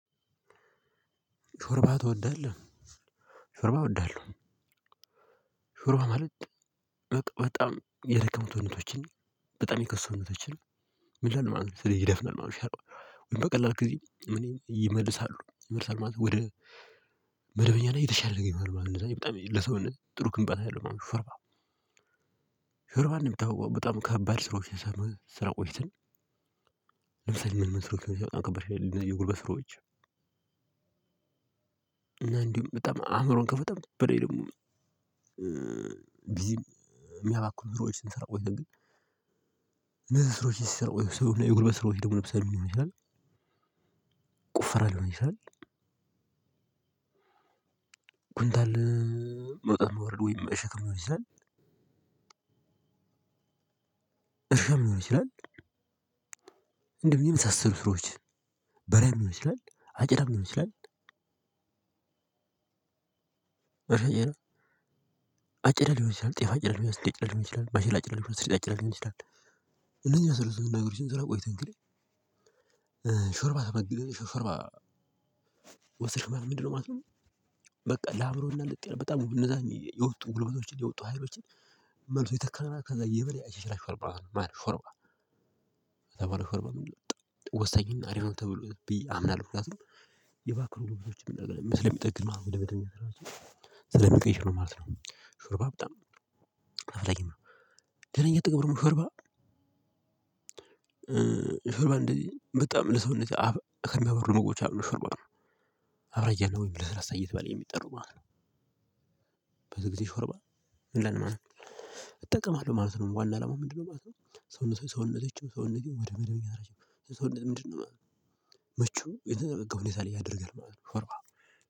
ሾርባ ትወዳለህ ሾርባ እወዳለሁ። ሾርባ ማለት በጣም የደከሙ ሰውነቶችን በጣም የከሱ ሰውነቶችን ምን ምንይሉ ማለት ነው? ስለዚህ ይደፍናል ማለትነው። ሻርባ በቀላል ጊዜ እኔ ይመልሳሉ ይመልሳል ማለት ነው። ወደ መደበኛ እና የተሻለ ነገር ይሆናል ማለት ለሰው ጥሩ ግንባታ ያለው ማለት ነው። ሾርባ ሻርባ እንደሚታውቀው በጣም ከባድ ስራዎች ስንሰራ ቆይተን። ለምሳሌ ምን ምን መስሮች ሲያወጣ ከበር ይላል የጉልበት ስሮች። እና እንዲሁ በጣም አእምሮን ከመጠን በላይ ደግሞ ቢዚም እሚያባክኑ ስራወች ስንሰራ ይሄዳል። ግን እነዚህ ስሮች ስንሰራው ይሄዳል የጉልበት ስሮች ደግሞ ልብሰን ይሆናል ይላል። ቁፈራለሁ ነው ይላል። ጉንታል መውጣት መውረድ ወይም መሸከም ይችላል። እሸክም ይችላል። እንዲሁም የመሳሰሉ ስራወች በሬም ሊሆን ይችላል። አጨዳም ሊሆን ይችላል። አጭዳ ሊሆን ይችላል ጤፋ አጭዳ ሊሆን ይችላል ማሽላጭ ይችላል ማሽላጭ ይችላል ስሪጣጭ ይችላል። እነዚህ መስሎ ስለሆነ ነገሮችን ስላቆይተን እንዲህ ተመግብኩ ሾርባ። ወስደሽ ምንድነው ማለት ነው? በቃ ለአእምሮና ልጥ የለም በጣም እነዛን የወጡ ሁለት ወርቶችን የወጡ ሀይሮችን መልሶ ይተካል መለት ነው። ከዛ የበለያይ ሽራሽ ፈርባ ነው ማለት ፈርባ ወሳኝና አሪፍ ነው። ተብሎ ብዬ አምናለሁ። የባክሩ ግብዞችን ስለሚጠግን ማለት ነው። ስለሚቀይሽ ነው ማለት ነው። ሾርባ በጣም አስፈላጊ ነው። ደና እየጠገብ ደግሞ ሻርባ ሾርባ እንደዚ በጣም ለሰውነት ከሚያበሩ ምግቦች አንዱ ሾርባ ነው። አብራጂ ያለው ወይንም ለስላሳ እየተባለ እሚጠራው ማለት ነው። ብዙ ጊዜ ሾርባ ምንድነው ማለት ነው? እጠቀማለሁ ማለት ነው። ዋና አላማው ምንድነው ማለት ነው? ሰውነት ሰውነቴን ወደመደበኛ መቼም የተነገረኝ አይደለም እያደረገኝ ነው የሚለው።